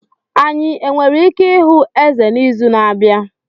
Anyị nwere ike ịhụ Eze n'izu na-abịa?